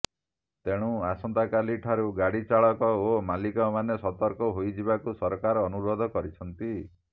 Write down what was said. ତେଣୁ ଆସନ୍ତାକାଲି ଠାରୁ ଗାଡ଼ି ଚାଳକ ଓ ମାଲିକମାନେ ସତର୍କ ହୋଇଯିବାକୁ ସରକାର ଅନୁରୋଧ କରିଛନ୍ତି